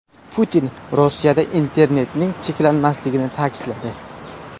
Putin Rossiyada internetning cheklanmasligini ta’kidladi.